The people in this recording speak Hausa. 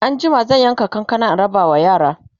anjima zan yanka kankanan in rabawa yara